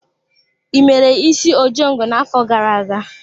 I mere isi ojongo na-afọ gara-aga?